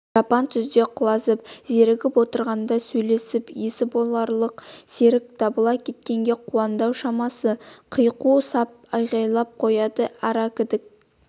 жапан түзде құлазып зерігіп отырғанда сөйлесіп есі боларлық серік табыла кеткенге қуанды-ау шамасы қиқу сап айғайлап қояды аракідік